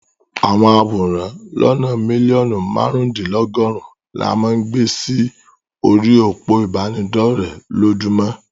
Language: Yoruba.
Àwọn àwòrán lónàa mílíọ̀nù márùn-úndínlọgọ́rùn ni a máa ń gbe sí orí òpó ìbánidọ́rẹ̀ lójúmọ́.